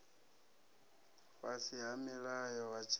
fhasi ha mulayo wa tshirema